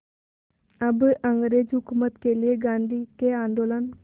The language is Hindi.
अब अंग्रेज़ हुकूमत के लिए गांधी के आंदोलन